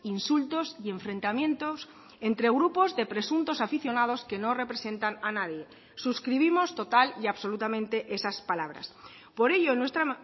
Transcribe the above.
insultos y enfrentamientos entre grupos de presuntos aficionados que no representan a nadie suscribimos total y absolutamente esas palabras por ello en nuestra